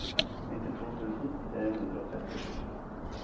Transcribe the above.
nittito tusen tre hundre og trettisju